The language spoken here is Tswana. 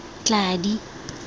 tladi